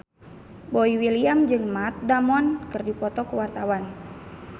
Boy William jeung Matt Damon keur dipoto ku wartawan